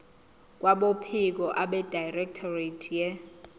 kwabophiko abedirectorate ye